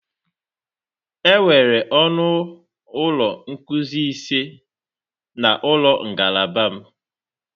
Enwere ọnụ ụlọ nkuzi ise na ụlọ ngalaba m.